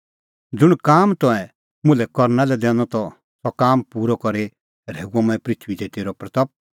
ज़ुंण काम तंऐं मुल्है करना लै दैनअ त सह काम पूरअ करी की मंऐं पृथूई दी तेरी महिमां